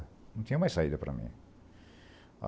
Não tinha mais saída para mim.